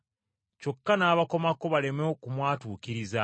kyokka n’abakomako baleme okumwatuukiriza.